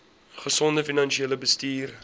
gesonde finansiële bestuur